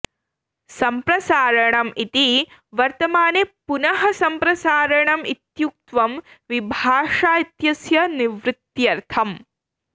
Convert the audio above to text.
सम्प्रसारणम् इति वर्तमाने पुनः सम्प्रसारणम् इत्युक्तं विभाषा इत्यस्य निवृत्त्यर्थम्